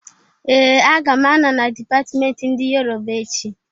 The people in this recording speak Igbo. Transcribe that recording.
Ee! Aga m anọ na dipatment ndị Yoroba echi.